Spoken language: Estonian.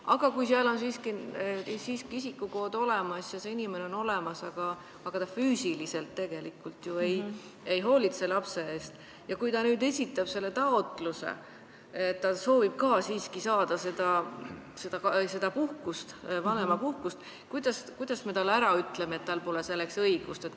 Aga kui seal on siiski isikukood olemas ja see inimene on olemas, aga ta füüsiliselt ei hoolitse lapse eest, ja kui ta nüüd esitab selle taotluse, et ta soovib saada vanemapuhkust, kuidas me talle ütleme, et tal pole selleks õigust?